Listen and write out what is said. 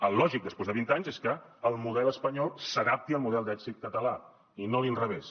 el lògic després de vint anys és que el model espanyol s’adapti al model d’èxit català i no a l’inrevés